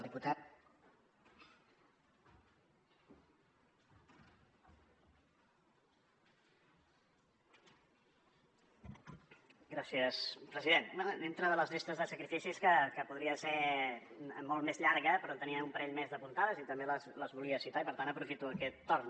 dintre de les llistes de sacrificis que podria ser molt més llarga però en tenia un parell més d’apuntades i també les volia citar i per tant aprofito aquest torn